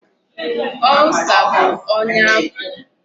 Ulcer bụ ọnya afọ.